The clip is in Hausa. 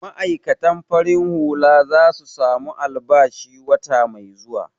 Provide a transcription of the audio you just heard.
Ma'aikatan farin hula za su samu albashi wata mai zuwa.